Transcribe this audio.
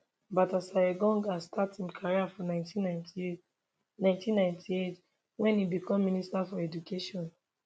baltasar engonga start im career for 1998 1998 wen im become minister for education